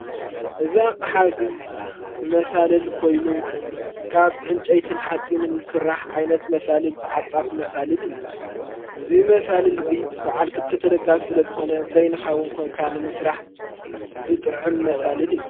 እዛቕ ሓዚ መሣልል ኮይኑ ካብ ዕንጨይትን ሓጺንን ዝሥራሕ ዓይነት መሣልል ተዓጻፍ መሣልል እዩ እዙይ መሣልል እዙይ ብዕልክልተተደጋፍ ዝለ ዝኾነ በይንኻዊን ኮንካንምስራሕ ዝጥዕም መሣልል እዩ።